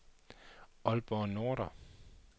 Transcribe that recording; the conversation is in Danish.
Aalborg Nordre